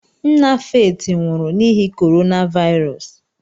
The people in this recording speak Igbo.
Nna Faith nwụrụ n'ihi Corona Virus.